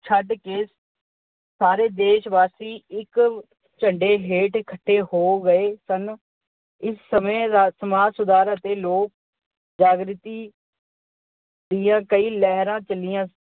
ਛੱਡ ਕੇ ਸਾਰੇ ਦੇਸ਼ ਵਾਸੀ ਇੱਕ ਝੰਡੇ ਹੇਠ ਇੱਕਠੇ ਹੋ ਗਏ ਸਨ। ਇਸ ਸਮੇਂ ਸਮਾਜ ਸੁਧਾਰ ਅਤੇ ਲੋਕ ਜਾਗ੍ਰਤੀ ਦੀਆਂ ਕਈ ਲਹਿਰਾਂ ਚਲੀਆਂ।